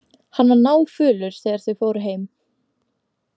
Hann var náfölur þegar þau fóru heim.